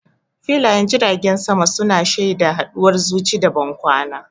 Filayen jiragen sama su na shaida haduwar zuci da bankwana.